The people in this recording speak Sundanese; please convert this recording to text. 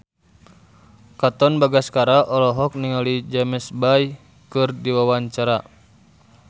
Katon Bagaskara olohok ningali James Bay keur diwawancara